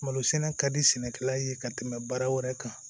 Malo sɛnɛ ka di sɛnɛkɛla ye ka tɛmɛ baara wɛrɛ kan